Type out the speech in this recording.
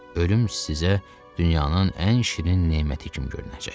Ölüm sizə dünyanın ən şirin neməti kimi görünəcək.